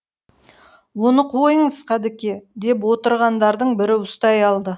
оны қойыңыз қадыеке деп отырғандардың бірі ұстай алды